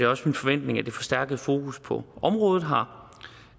også min forventning at det forstærkede fokus på området har